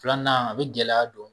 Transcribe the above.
Filanan a bɛ gɛlɛya don